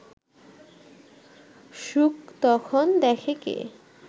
সুখ তখন দেখে কে